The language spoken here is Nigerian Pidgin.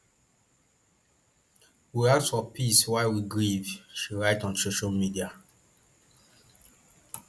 we ask for peace while we grieve she write on social media